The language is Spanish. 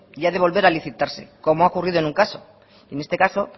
y ha de volver a licitarse como ha ocurrido en un caso en este caso